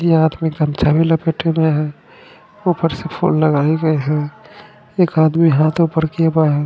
ये आदमी गमछा भी लपेटे हुए है ऊपर से लगाए है एक आदमी हाथों पर ।